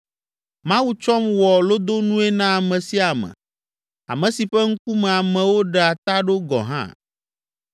“Mawu tsɔm wɔ lodonue na ame sia ame, ame si ƒe ŋkume amewo ɖea ta ɖo gɔ̃ hã.